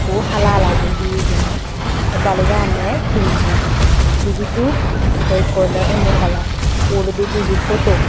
ikko hala hala guri hi hijeni te baloj agonne tinno dibi dup te ikko ole onno kalar uguredi dibey poto.